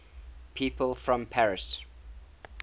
people from paris